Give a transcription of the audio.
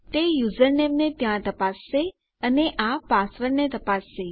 તે યુઝરનેમને ત્યાં તપાસશે અને આ પાસવર્ડને તપાસશે